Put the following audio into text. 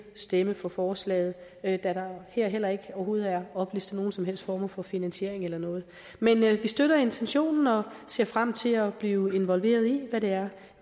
stemme for forslaget da der her heller ikke overhovedet er oplyst om nogen som helst former for finansiering eller noget men vi støtter intentionen og ser frem til at blive involveret i hvad det er